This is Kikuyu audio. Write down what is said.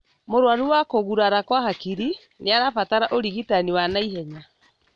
Mũrwaru wa kũgurara kwa hakiri nĩarabatara ũrigitani wa naihenya